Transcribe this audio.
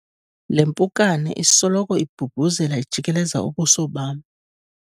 le mpukane isoloko ibhubhuzela ijikeleza ubuso bam